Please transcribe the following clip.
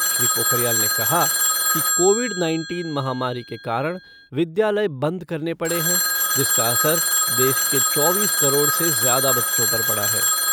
श्री पोखरियाल ने कहा कि कोविड नाइनटीन महामारी के कारण विद्यालय बंद करने पड़े हैं जिसका असर देश के चौबीस करोड़ से ज़्यादा बच्चों पर पड़ा है।